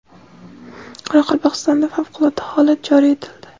Qoraqalpog‘istonda favqulodda holat joriy etildi.